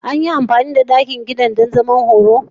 An yi amfani da ɗakin kiɗan don zaman horo?